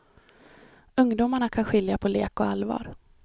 Ungdomarna kan skilja på lek och allvar.